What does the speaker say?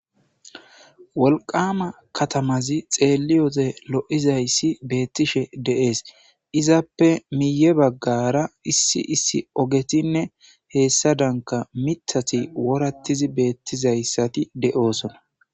wolqama katamazi xeelliyode lo7izayssi beettishe deees izappe miye baggara issi issi ogetinne heessa danka mitati worattizi beettizayssati de7oosona